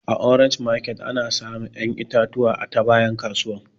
A orange market dake abuja ana samun ƴan itatuwa a ta bayan kasuwan